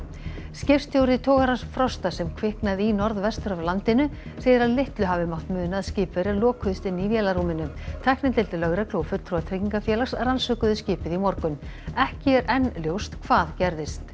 skipstjóri togarans Frosta sem kviknaði í norðvestur af landinu segir að litlu hafi mátt muna að skipverjar lokuðust inni í vélarrúminu tæknideild lögreglu og fulltrúar tryggingafélags rannsökuðu skipið í morgun ekki er enn ljóst hvað gerðist